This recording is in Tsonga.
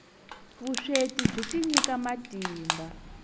vusweti byi tinyika matimba